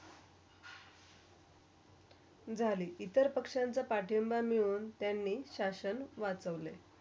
झाली इतर पक्ष्यांचा पाठिंबा मिळून त्यांनी शासन वाचवले.